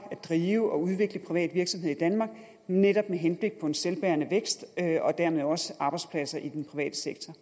drive og udvikle privat virksomhed i danmark netop med henblik på en selvbærende vækst og dermed også arbejdspladser i den private sektor